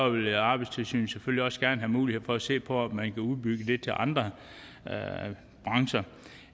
vil arbejdstilsynet selvfølgelig også gerne have mulighed for at se på om man kan udbygge det til at andre brancher